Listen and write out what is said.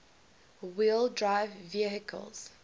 wheel drive vehicles